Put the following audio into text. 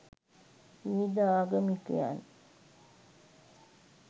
විවිධ ආගමිකයන්